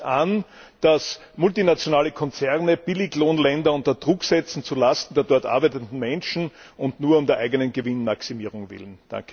Es geht nicht an, dass multinationale Konzerne Billiglohnländer unter Druck setzen, zulasten der dort arbeitenden Menschen und nur um der eigenen Gewinnmaximierung willen.